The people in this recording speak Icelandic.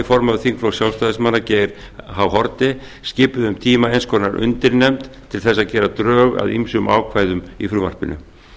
formaður þingflokks sjálfstæðismanna geir h haarde skipuðu um tíma eins konar undirnefnd til þess að gera drög að ýmsum ákvæðum í frumvarpinu